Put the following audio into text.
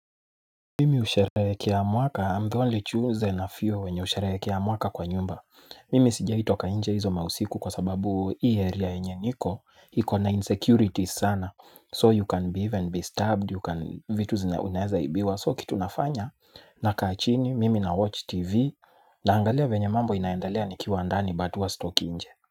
Mimi husherekea mwaka, I'm the only choosen a few wenye husherehekea mwaka kwa nyumba. Mimi sijai toka nje hizo mausiku kwa sababu hii area yenye niko, iko na insecurities sana. So you can be even be stabbed, you can, vitu zina unaeza ibiwa. So kitu nafanya, nakaa chini, mimi nawatch TV, naangalia venye mambo inaendelea nikiwa ndani but huwa sitoki nje.